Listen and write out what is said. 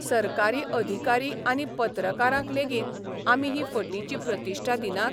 सरकारी अधिकारी आनी पत्रकारांक लेगीत आमी ही फटीची प्रतिश्ठा दिनात?